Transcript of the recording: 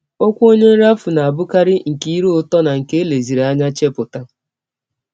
Ọkwụ ọnye nrafu na - abụkarị nke ire ụtọ na nke e leziri anya chepụta.